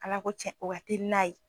Ala ko cɛn o ka teli n'a ye.